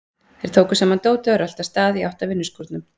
Þeir tóku saman dótið og röltu af stað í átt að vinnuskúrnum.